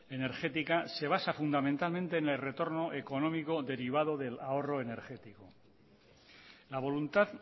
energética se basa fundamentalmente en el retorno económico derivado del ahorro energético la voluntad